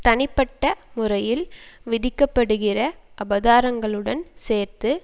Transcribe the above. தனிப்பட்ட முறையில் விதிக்கப்படுகிற அபராதங்களுடன் சேர்த்து